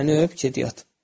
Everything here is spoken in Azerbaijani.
Məni öp, get yat.